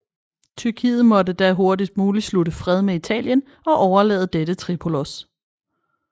Tyrkiet måtte da hurtigst muligt slutte fred med Italien og overlade dette Tripolis